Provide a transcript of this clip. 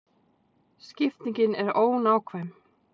Skiptingin er ónákvæm.